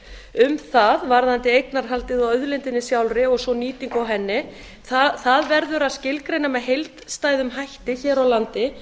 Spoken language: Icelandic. um það varðandi eignarhaldið á auðlindinni sjálfri og svo nýtingu á henni það verður að skilgreina eð heildstæðum hætti hér á landi